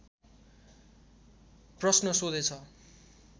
प्रश्न सोधेछ